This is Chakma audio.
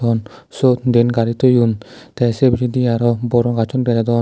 on suot diyen gari toyon tay pijedi aro boronga gacchun dega jadon.